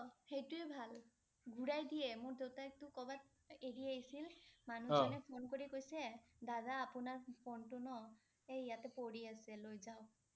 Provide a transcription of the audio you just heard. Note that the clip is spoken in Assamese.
সেইটোৱে ভাল। ঘূৰাই দিয়ে, মোৰ দেউতাইটো কৰ'বাত এৰি আহিছিল, মানুহে মানে ফোন কৰি কৈছে, দাদা আপোনাৰ ফোন টো ন এই ইয়াতে পৰি আছে লৈ যাওক।